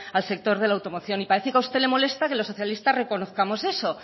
al sector de la automoción y parece que a usted le molesta que los socialistas reconozcamos eso